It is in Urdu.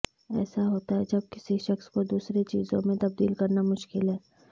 ایسا ہوتا ہے جب کسی شخص کو دوسرے چیزوں میں تبدیل کرنا مشکل ہے